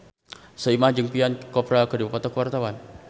Soimah jeung Priyanka Chopra keur dipoto ku wartawan